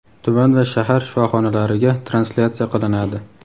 tuman va shahar shifoxonalariga translyatsiya qilinadi.